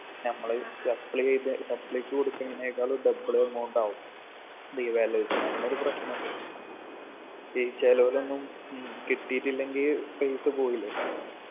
നമ്മള് supply എഴുതി supply ക്ക് കൊടുക്കുന്നതിനേക്കാളും double amount ആവും revaluation അങ്ങനൊരു പ്രശ്നണ്ട് ഈ ചെലവിലൊന്നും ഉം കിട്ടീട്ടില്ലെങ്കി പൈസ പോവൂലെ